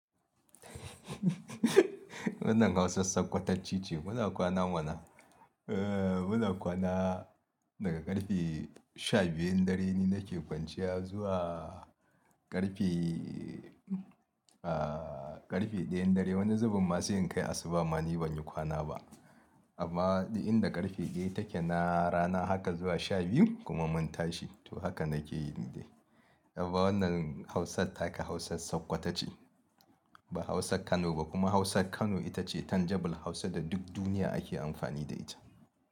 Wannan Hausas Sakkwatacce ce muna kwana mana. Eh muna kwana daga ƙarfe sha biyun dare ni nake kwanciya zuwa ƙarfe, ƙarfe dayan dare. Wani zubin ma sai in kai asuba ma ni ban yi kwana ba. Amma duk inda ƙarfe ɗaya take na rana haka zuwa sha biyu kuma mun tashi to haka nake yi. Abba wannan Hausar taka Hausar Sakkwata ce ba Hausar Kano ba kuma Hausar Kano ita ce tangible Hausa da duk duniya ake amfani da ita.